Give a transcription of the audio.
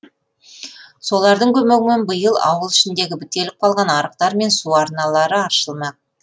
солардың көмегімен биыл ауыл ішіндегі бітеліп қалған арықтар мен су арналары аршылмақ